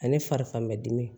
Ale farifamɛdi